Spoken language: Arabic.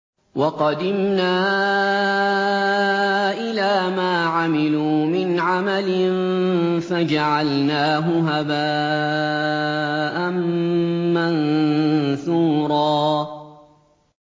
وَقَدِمْنَا إِلَىٰ مَا عَمِلُوا مِنْ عَمَلٍ فَجَعَلْنَاهُ هَبَاءً مَّنثُورًا